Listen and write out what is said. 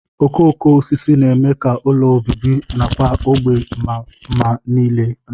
Okooko osisi na-eme ka ụlọ obibi nakwa ógbè maa mma ile anya